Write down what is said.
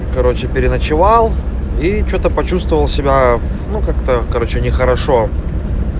короче переночевал и что-то почувствовал себя ну как-то короче нехорошо